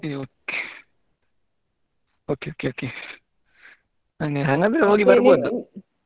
ಹ್ಮ್ okay okay okay ಹಾಗಾದ್ರೆ ಹೋಗಿ ಬರ್ಬೋದು.